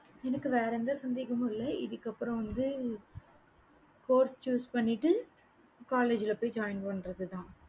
எனக்கு வேற எந்த சந்தேகமும் இல்ல இதுக்கு அப்பறம் வந்து course choose பண்ணிட்டு college போய் join பன்றது தான்